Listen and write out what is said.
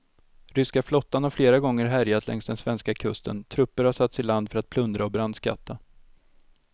Ryska flottan har flera gånger härjat längs den svenska kusten, trupper har satts i land för att plundra och brandskatta.